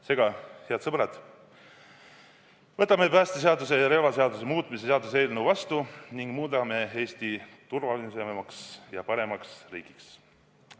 Seega, head sõbrad, võtame päästeseaduse ja relvaseaduse muutmise seaduse vastu ning muudame Eesti turvalisemaks ja paremaks riigiks!